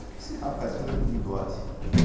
O que esse rapaz está fazendo com o bigode?